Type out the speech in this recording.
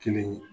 Kelen ye